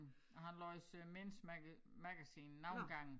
Og han læser men's magazine nogle gange